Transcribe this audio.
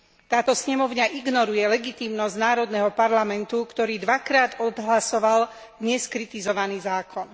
Táto snemovňa ignoruje legitímnosť národného parlamentu, ktorý dvakrát odhlasoval neskritizovaný zákon.